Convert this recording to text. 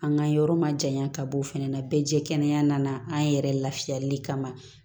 An ka yɔrɔ ma janya ka bɔ o fɛnɛ na bɛɛ jɛ kɛnɛya nana an yɛrɛ lafiyali kama